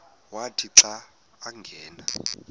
wathi xa angena